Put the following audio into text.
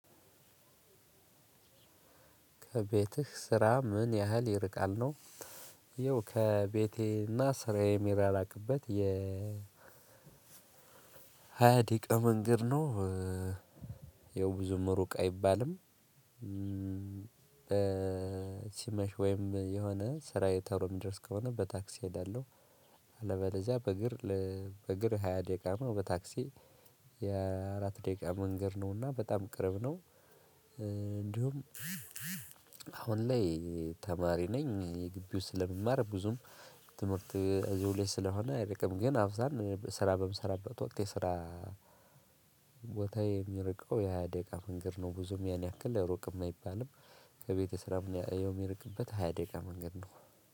ከቤትህ ስራ ምን? ያህል ይርቃል ነው ይኸው ከቤቴ እና ስራዬ የሚራራቅበት የ ሃያ ደቂቃ መንገድ ነው። ያው ብዙም ሩቅ አይባልም። ሲመሽ ወይም የሆነ ስራዬ ቶሎ የሚደርስ ከሆነ በታክሲ እሄዳለሁ። አለበለዚያ በእግር እሄዳለሁ በእግር ሃያ ደቂቃ ነው በታክሲ የ አራት ደቂቃ መንገድ ነው እና በጣም ቅርብ ነው። እንዲሁ አሁን ላይ ተማሪ ነኝ የግቢው ስለምማር ብዙም ትምህርት እዚሁ ላይ ስለሆነ አይርቅም። ግን አብዛን ስራ በምሰራበት ወቅት የስራ ቦታዬ የሚርቀው የ ሃያ ደቂቃ መንገድ ነው። ብዙም ያን ያክል ሩቅም አይባልም። በቤቴ ስራም የሚቀርበት ሃያ ደቂቃ ነው።